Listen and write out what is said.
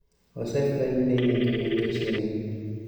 osefweny ni nigi midhusi ni,